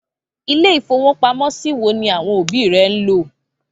Ilé-ìfowópamọ́sí wo ni àwọn òbí rẹ ń lò?